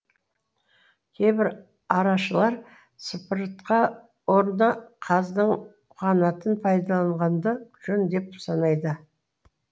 кейбір арашылар сыпыртқа орнына қаздың қанатын пайдаланғанды жөн деп санайды